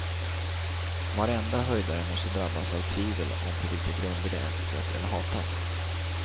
Varenda höjdare måste drabbas av tvivel om på vilka grunder de älskas eller hatas.